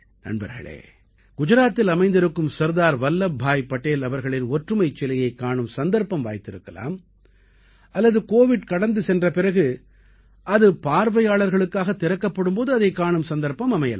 நண்பர்களே குஜராத்தில் அமைந்திருக்கும் சர்தார் வல்லப்பாய் படேல் அவர்களின் ஒற்றுமைச் சிலையைக் காணும் சந்தர்ப்பம் வாய்த்திருக்கலாம் அல்லது கோவிட் கடந்து சென்ற பிறகு அது பார்வையாளர்களுக்காகத் திறக்கப்படும் போது அதைக் காணும் சந்தர்ப்பம் அமையலாம்